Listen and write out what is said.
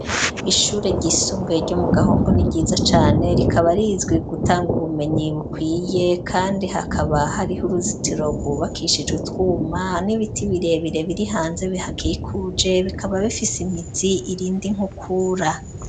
Ishure ryisumbuye ryo mu Gahombo ni ryiza cane, rikaba rizwi gutanga ubumenyi bukwiye kandi hakaba hariho uruzitiro rwubakishije utwuma n'ibiti birebire biri hanze bihakikuje, bikaba bifise imizi irinda inkukura.